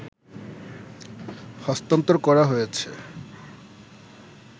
হস্তান্তরকরা হয়েছ